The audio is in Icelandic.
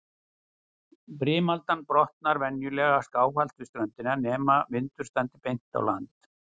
Brimaldan brotnar venjulega skáhallt við ströndina, nema vindur standi beint á land.